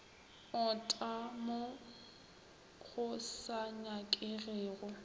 ota mo go sa nyakegego